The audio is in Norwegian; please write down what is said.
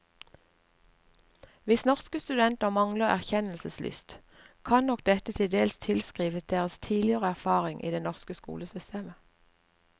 Hvis norske studenter mangler erkjennelseslyst, kan nok dette til dels tilskrives deres tidligere erfaring i det norske skolesystemet.